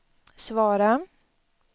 svara